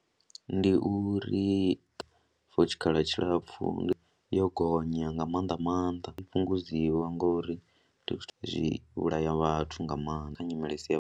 Ndi uri for tshikhala tshilapfhu yo gonya nga maanḓa maanḓa i fhungudziwe ngori ndi zwithu zwi vhulaya vhathu nga maanḓa kha nyimele i si yavhuḓi.